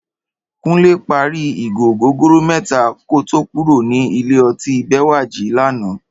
Kúnlé parí ìgò ògógóró mẹ́ta kó tó kúrò ní ilé ọtí Bẹ́wàjí lánàá